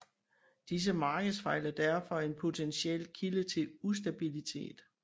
Disse markedsfejl er derfor en potentiel kilde til ustabilitet